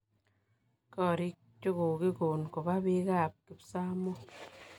Korik chokokikon kopa pik ap kipsamoo.